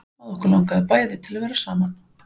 Að okkur langaði bæði til að vera saman.